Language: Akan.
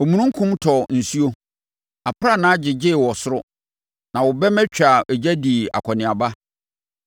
Omununkum tɔɔ nsuo, aprannaa gyegyee wɔ soro; na wo bɛmma twaa ogya dii akɔneaba.